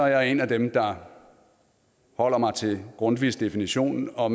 jeg en af dem der holder mig til grundtvigs definition og